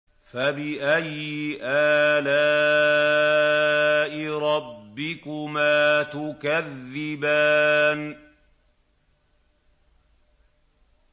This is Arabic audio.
فَبِأَيِّ آلَاءِ رَبِّكُمَا تُكَذِّبَانِ